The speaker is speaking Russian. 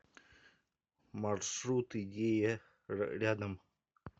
маршрут идея рядом